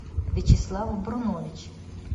вячеслав брунович